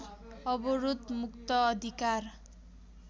अवरोध मुक्त अधिकार